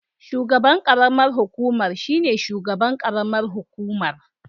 Shugaban karamar hukumar shine shugaban karamar hukumar